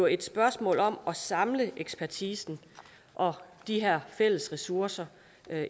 et spørgsmål om at samle ekspertisen og de her fælles ressourcer